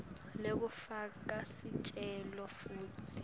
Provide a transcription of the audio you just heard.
lekufaka sicelo futsi